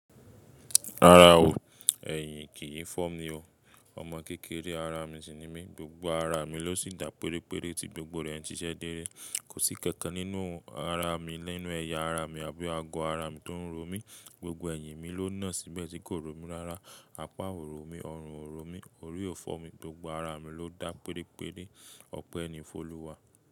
Rárá o, ẹ̀yìn kìí fọ́ mi o. Ọmọ kékeré ara mi sì ni mí, gbogbo ara mi ló sì dá péréré tí gbogbo rẹ̀ n siṣẹ̀ dere. Kò sí ikankan nínú ara mi, ninu ẹyà ara mi àbí ago ara mi tó ń ro mí. Gbogbo ẹ̀yìn mi ló náà síbẹ̀ tí kò ro mí rárá. Apá ò ro mi, ọrùn ò ro mi, orí ò fọ́ mi, gbogbo ara mi ló dá péréré. Ope ni foluwa.